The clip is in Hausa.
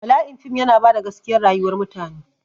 Bala'in fim yana bada gaskiya rayuwar mutane